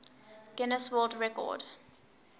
guinness world record